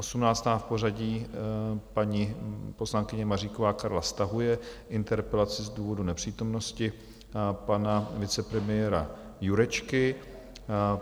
Osmnáctá v pořadí, paní poslankyně Maříková Karla, stahuje interpelaci z důvodu nepřítomnosti pana vicepremiéra Jurečky.